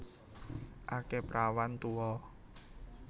Akeh prawan tuwa